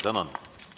Tänan!